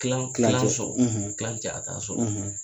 Kilan kilan solan ja so